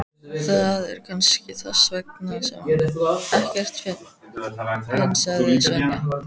Það er kannski þess vegna sem ekkert finnst, sagði Svenni.